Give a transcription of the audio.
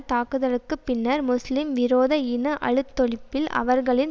தாக்குதலுக்கு பின்னர் முஸ்லிம் விரோத இன அழித்தொழிப்பில் அவர்களின்